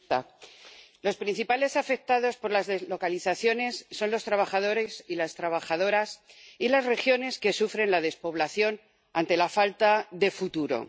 Señora presidenta, los principales afectados por las deslocalizaciones son los trabajadores y las trabajadoras y las regiones que sufren la despoblación ante la falta de futuro.